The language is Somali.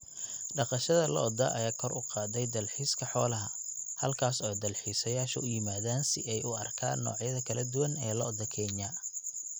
Dhaqashada lo'da ayaa kor u qaaday dalxiiska xoolaha, halkaas oo dalxiisayaashu u yimaadaan si ay u arkaan noocyada kala duwan ee lo'da Kenya.